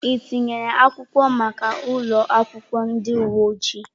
Ị tinyere akwụkwọ maka ụlọ akwụkwọ ndị uwe ojii?